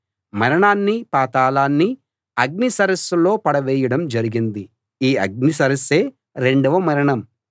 మరణాన్నీ పాతాళాన్నీ అగ్ని సరస్సులో పడవేయడం జరిగింది ఈ అగ్ని సరస్సే రెండవ మరణం